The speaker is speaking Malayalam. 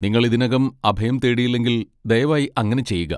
നിങ്ങൾ ഇതിനകം അഭയം തേടിയിലെങ്കിൽ, ദയവായി അങ്ങനെ ചെയ്യുക.